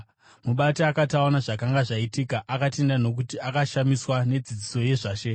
Mubati akati aona zvakanga zvaitika akatenda nokuti akashamiswa nedzidziso yezvaShe.